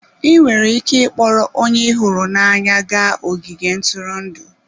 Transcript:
Ị nwere ike ịkpọrọ onye ị hụrụ n'anya gaa ogige ntụrụndụ.